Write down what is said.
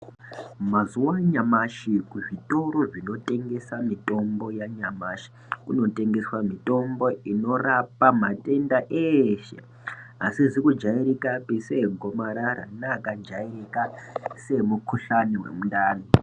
Mazuva anyamashi kuzvitoro zvinotengesa mitombo yanyamashi kunotengeswa mitombo inorapa matenda eshe. Asizi kujairikapi seegomarara neakajairika seemukuhlani vemundani.